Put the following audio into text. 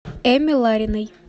эмме лариной